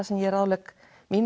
sem ég ráðlegg